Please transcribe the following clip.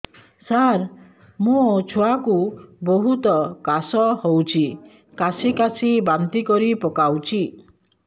ସାର ମୋ ଛୁଆ କୁ ବହୁତ କାଶ ହଉଛି କାସି କାସି ବାନ୍ତି କରି ପକାଉଛି